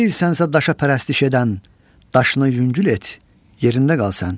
Deyilsənsə daşa pərəstiş edən, daşını yüngül et, yerində qal sən.